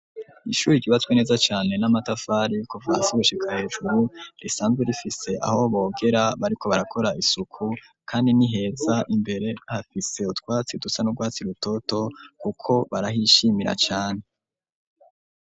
Ishuri ryubatswe neza cane n'amatafari kuva hasi gushika hejuru, rizanzwe rifise aho bogera bariko barakora isuku ,kandi niheza imbere hafise utwatsi dusa nurwatsi rutoto kuko barahishimira cane.